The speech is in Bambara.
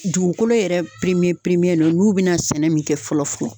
Dugukolo yɛrɛ piremiye piremiye no n'u be na sɛnɛ min kɛ fɔlɔ fɔlɔ